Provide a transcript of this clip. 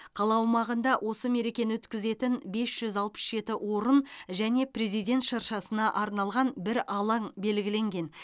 қала аумағында осы мерекені өткізетін бес жүз алпыс жеті орын және президент шыршасына арналған бір алаң белгіленген